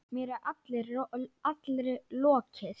Mér er allri lokið.